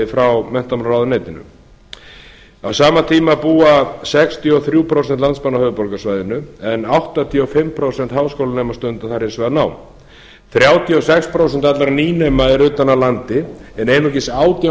frá menntamálaráðuneytinu á sama tíma búa áttatíu og þrjú prósent landsmanna á höfuðborgarsvæðinu en áttatíu og fimm prósent háskólanema stunda þar hins vegar nám þrjátíu og sex prósent allra nýnema eru utan af landi en einungis átján